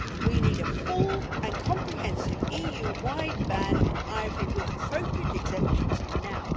We need a full and comprehensive EU wide ban on ivory, with appropriate exemptions, now.